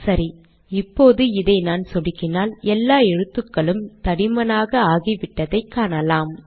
சரி இப்போது இதை நான் சொடுக்கினால் எல்லா எழுத்துக்களும் தடிமனாக ஆகிவிட்டதை காணலாம்